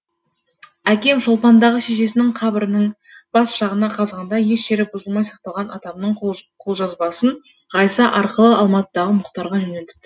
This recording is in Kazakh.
әкем шолпандағы шешесінің қабірінің бас жағына қазғанда еш жері бұзылмай сақталған атамның қолжазбасын ғайса арқылы алматыдағы мұхтарға жөнелтіпті